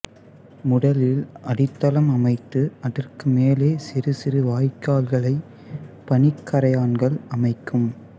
முதலில் அடித்தளம் அமைத்து அதற்கு மேலே சிறு சிறு வாய்க்கால்களை பணிக்கறையான்கள் அமைக்கும்